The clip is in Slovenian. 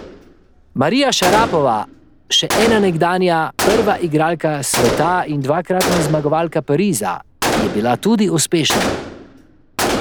Marija Šarapova, še ena nekdanja nekdanja prva igralka sveta in dvakratna zmagovalka Pariza, je bila tudi uspešna.